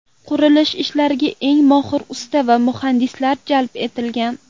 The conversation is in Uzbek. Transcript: Qurilish ishlariga eng mohir usta va muhandislar jalb etilgan.